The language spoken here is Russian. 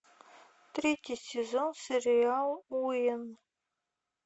третий сезон сериал уэйн